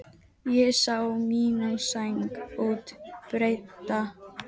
Ég sá mína sæng út breidda.